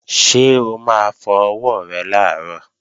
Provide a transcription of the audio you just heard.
Ṣé o máa fọ ọwọ́ rẹ làárọ̀?